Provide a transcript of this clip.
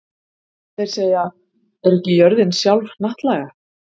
Þeir segja: Er ekki jörðin sjálf hnattlaga?